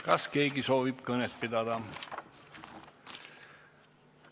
Kas keegi soovib kõnet pidada?